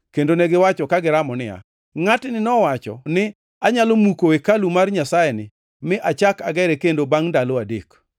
kendo negiwacho ka giramo niya, “Ngʼatni nowacho ni, ‘Anyalo muko hekalu mar Nyasayeni mi achak agere kendo bangʼ ndalo adek.’ ”